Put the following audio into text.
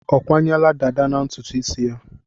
Ọ kwanyela dàdá na ntutu isi ya?